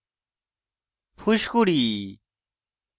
ফুসকুড়ি